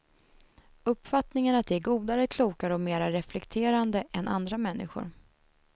Uppfattningen att de är godare, klokare och mera reflekterande än andra människor.